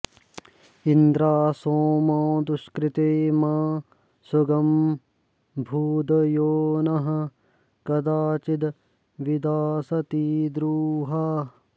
इन्द्रा॑सोमा दु॒ष्कृते॒ मा सु॒गं भू॒द्यो नः॑ क॒दा चि॑दभि॒दास॑ति द्रु॒हा